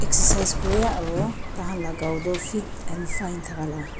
excercise kurae aro tai khan la gaw toh fit and fine thakala.